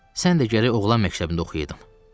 Sən də gərək oğlan məktəbində oxuyaydın.